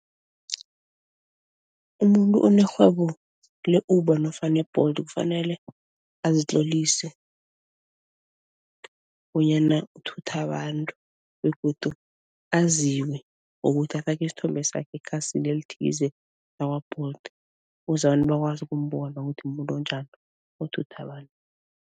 Umuntu onerhwebo le-Uber nofana i-Bolt kufanele azitlolise bonyana uthutha abantu begodu aziwe ngokuthi afake isithombe sakhe ekhasini elithize lakwa-Bolt ukuze abantu bakwazi ukumbona ukuthi muntu onjani, othutha abantu.